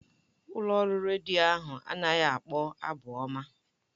Ụlọ ọrụ redio ahụ anaghị akpọ abụ ọma.